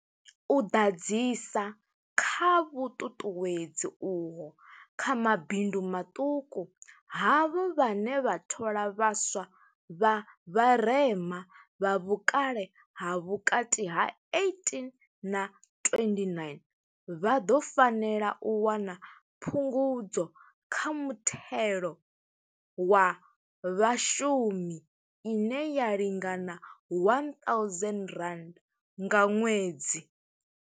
U ḓadzisa kha vhuṱuṱuwedzi uho kha mabindu maṱuku, havho vhane vha thola vhaswa vha vharema, vha vhukale ha vhukati ha 18 na 29, vha ḓo fanela u wana Phungudzo kha Muthelo wa Vhashumi ine ya lingana R1 000 nga ṅwedzi.